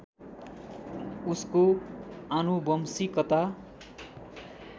उसको आनुवंशिकता